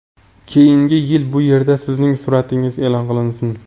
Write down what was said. keyingi yil bu yerda sizning suratingiz e’lon qilinsin!.